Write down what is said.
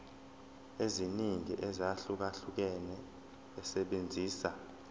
eziningi ezahlukahlukene esebenzisa